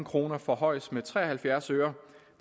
kroner forhøjes med tre og halvfjerds øre